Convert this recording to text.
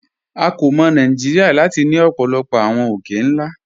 À kò mọ̀ Nàìjíríà láti ni ọ̀pọ̀lọ̀pọ̀ awọn òkè-nlá.